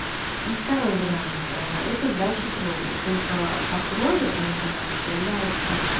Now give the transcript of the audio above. и второй вариант это сдача крови только по крови они горят проверяется